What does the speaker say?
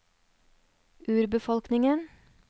urbefolkningen